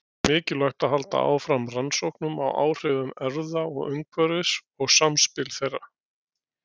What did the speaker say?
Því er mikilvægt að halda áfram rannsóknum á áhrifum erfða og umhverfis og samspili þeirra.